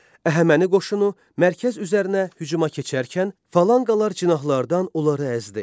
Əhəməni qoşunu mərkəz üzərinə hücuma keçərkən falanqalar cinahlardan onları əzdi.